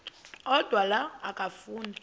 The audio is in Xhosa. odwa la okafuna